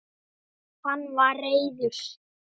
Hann var reiður.